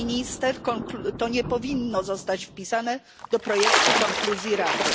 Pani Minister to nie powinno zostać wpisane do projektu konkluzji Rady.